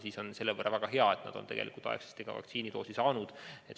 Seega on väga hea, et nad on aegsasti vaktsiinidoosi kätte saanud.